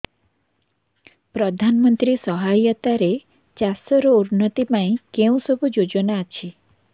ପ୍ରଧାନମନ୍ତ୍ରୀ ସହାୟତା ରେ ଚାଷ ର ଉନ୍ନତି ପାଇଁ କେଉଁ ସବୁ ଯୋଜନା ଅଛି